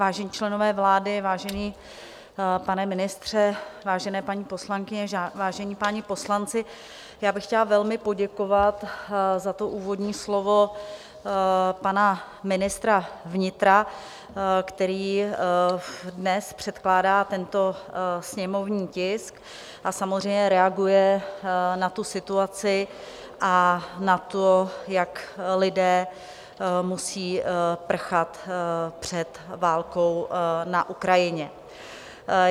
Vážení členové vlády, vážený pane ministře, vážené paní poslankyně, vážení páni poslanci, já bych chtěla velmi poděkovat za to úvodní slovo pana ministra vnitra, který dnes předkládá tento sněmovní tisk a samozřejmě reaguje na tu situaci a na to, jak lidé musí prchat před válkou na Ukrajině.